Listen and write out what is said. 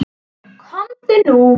Komdu nú!